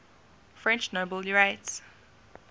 french nobel laureates